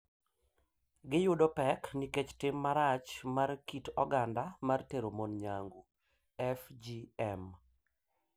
Giyudo pek nikech tim marach mar kit oganda mar tero mon nyangu (FGM),